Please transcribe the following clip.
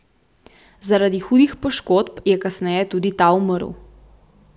Zaradi hudih poškodb je kasneje tudi ta umrl.